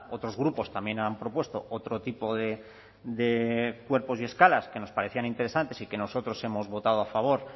otros grupos también han propuesto otro tipo de cuerpos y escalas que nos parecían interesantes y que nosotros hemos votado a favor